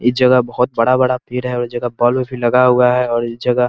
इस जगह बहुत बड़ा-बड़ा पेड़ है और इस जगह बल्ब भी लगाया हुआ है और इस जगह --